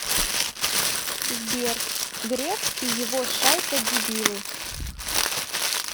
сбер греф и его шайка дебилы